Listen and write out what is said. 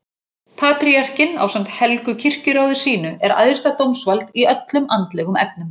Patríarkinn ásamt helgu kirkjuráði sínu er æðsta dómsvald í öllum andlegum efnum.